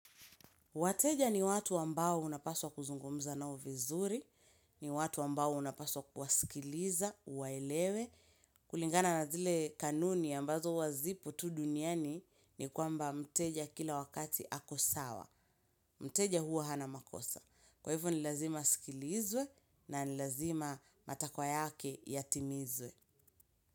Wateja ni watu ambao unapaswa kuzungumza nao vizuri, ni watu ambao unapaswa kuwasikiliza, uwaelewe, kulingana na zile kanuni ambazo huwazipo tu duniani ni kwamba mteja kila wakati akosawa. Mteja huwa hana makosa. Kwa hivyo nilazima asikilizwe na nilazima matakwa yake yatimizwe.